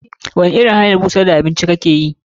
Wani irin hanyar busar da abinci kake yi?